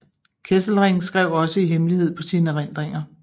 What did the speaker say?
Kesselring skrev også i hemmelighed på sine erindringer